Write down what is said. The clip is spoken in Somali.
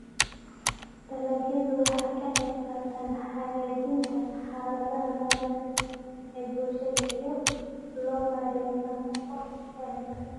Dalagyadu waxay ka qaybqaataan hagaajinta xaaladda nololeed ee bulshada iyada oo loo marayo nafaqo wanaagsan.